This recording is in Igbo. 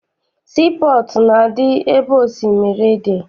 Sii pọọtụ na-adị ebe osimiri dị.